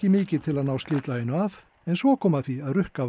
mikið til að ná slitlaginu af en svo kom að því að rukka